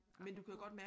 Apropos